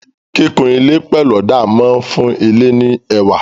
Kíkun ilé pẹ̀lú ọ̀dà máa fún ilé ní ẹwà.